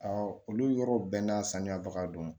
olu yɔrɔw bɛɛ n'a sanuyabaga don